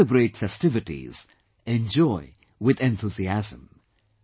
Celebrate festivities, enjoy with enthusiasm